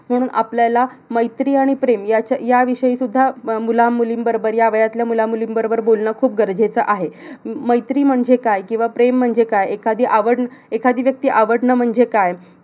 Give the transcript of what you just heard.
म्हणून आपल्याला मैत्री आणि प्रेम ह्याचा ह्या विषयी सुद्धा मुलं-मुली बरोबर, ह्या वयातल्या मुला-मुलीं बरोबर बोलणं खूप गरजेचं आहे मैत्री म्हणजे काय किंवा प्रेम म्हणजे काय. एखादी आवड, एखादी व्यक्ती आवडणं म्हणजे काय? किंवा